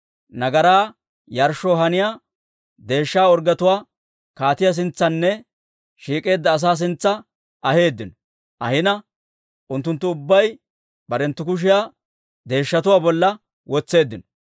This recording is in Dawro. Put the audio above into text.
Nagaraa yarshshoo haniyaa deeshsha orggetuwaa kaatiyaa sintsanne shiik'eedda asaa sintsa aheeddino; ahina unttunttu ubbay barenttu kushiyaa deeshshatuwaa bolla wotseeddino.